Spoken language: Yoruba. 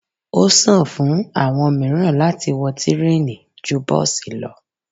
Ọ́sàn fún àwọn miran láti wọ tireni ju bọsi lọ